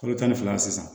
Kalo tan ni fila sisan